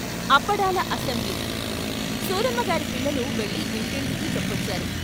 అప్పడాల assembly సూరమ్మగారి పిల్లలు వెళ్ళి ఇంటింటికీ చెప్పొచ్చారు.